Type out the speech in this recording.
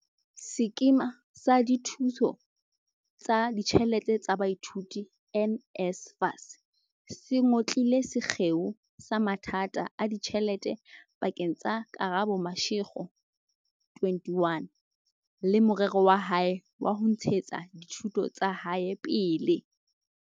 Sekema sa Dithuso tsa Ditjhelete tsa Baithuti, NSFAS, se ngotlile sekgeo sa mathata a ditjhelete pa keng tsa Karabo Mashego, 21, le morero wa hae wa ho ntshetsa dithuto tsa hae pele.